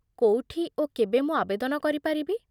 କୋଉଠି ଓ କେବେ ମୁଁ ଆବେଦନ କରିପାରିବି?